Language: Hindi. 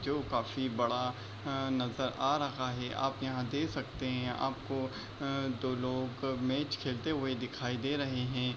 जो काफी बड़ा अ नजर आ रहा है आप यहाँ देख सकते हैं दो लोग आपको मैच खेलते दिखाई दे रहे हैं।